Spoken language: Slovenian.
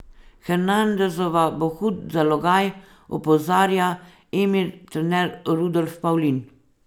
Hernandezova bo hud zalogaj, opozarja Emin trener Rudolf Pavlin.